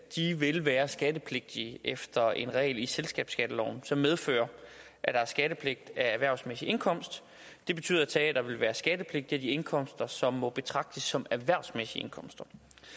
vil være skattepligtige efter en regel i selskabsskatteloven som medfører at der er skattepligt af erhvervsmæssig indkomst det betyder at teatrene vil være skattepligtige af de indkomster som må betragtes som erhvervsmæssige indkomster